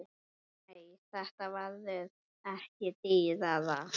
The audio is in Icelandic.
Nei, þetta verður ekki dýrara.